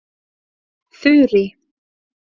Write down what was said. Þurý